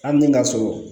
Hali ni ka sɔrɔ